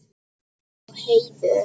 Á heiður.